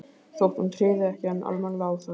Þótt hún tryði ekki enn almennilega á það.